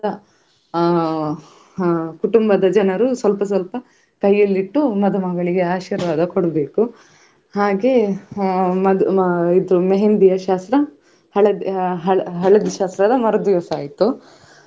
ಪ್ರಾಣಿಗಳು ಆ ನಮ್ಮ ಹತ್ರಸ ಬರ್ತಿತ್ತು ಕೆ~ ಕೆಲವು ಮತ್ತು ಆ ಅವುಗಳು ಆಟ ಆಡ್ತಾ ಇದ್ವು. ಮ~ ಮಂಗಗಳೆಲ್ಲ ಆಟ ಆಡ್ತಾ ಇತ್ತು, ಹಾಗೆ ಆ ಮತ್ತೇ ಆ ಮೀನುಗಳೆಲ್ಲಾ ತುಂಬಾ ಆ ಬಣ್ಣ ಬಣ್ಣದ ಮೀನುಗಳು ಇದ್ವು ಮತ್ತೇ ಹಾವುಗಳು.